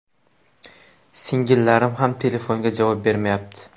Singillarim ham telefonga javob bermayapti.